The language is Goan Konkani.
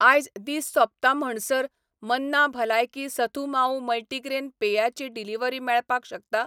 आयज दीस सोंपता म्हणसर मन्ना भलायकी सथु मावू मल्टीग्रेन पेया ची डिलिव्हरी मेळपाक शकता?